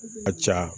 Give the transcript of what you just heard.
Ka ca